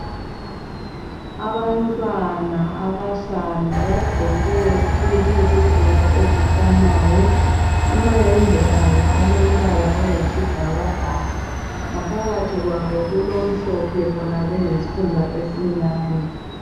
Abantwana abahlanu bagqoke izigqoko ezifanayo amayembe abo alompala oyisibhakabhaka ngaphakathi kwabo kulomhlophe bona beyisikhumba esimnyama.